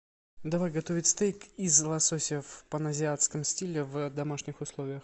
давай готовить стейк из лосося в паназиатском стиле в домашних условиях